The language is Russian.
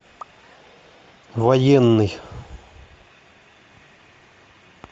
военный